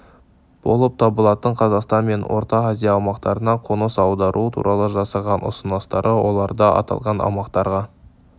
болып табылатын қазақстан мен орта азия аумақтарына қоныс аудару туралы жасаған ұсыныстары оларды аталған аумақтарға